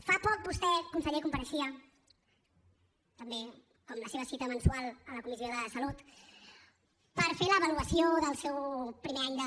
fa poc vostè conseller compareixia també com la seva cita mensual a la comissió de salut per fer l’avaluació del seu primer any de